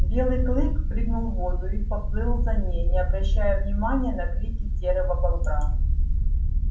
белый клык прыгнул в воду и поплыл за ней не обращая внимания на крики серого бобра